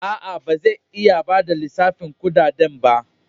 A'a, ba zai iya ba da lissafin dukan kudaden ba.